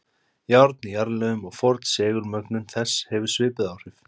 Járn í jarðlögum og forn segulmögnun þess hefur svipuð áhrif.